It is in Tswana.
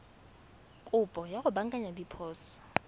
kopo ya go baakanya diphoso